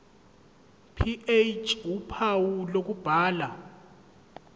ph uphawu lokubhala